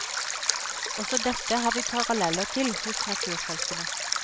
Også dette har vi paralleller til hos naturfolkene.